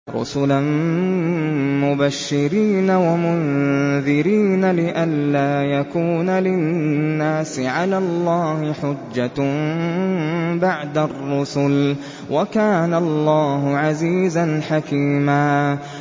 رُّسُلًا مُّبَشِّرِينَ وَمُنذِرِينَ لِئَلَّا يَكُونَ لِلنَّاسِ عَلَى اللَّهِ حُجَّةٌ بَعْدَ الرُّسُلِ ۚ وَكَانَ اللَّهُ عَزِيزًا حَكِيمًا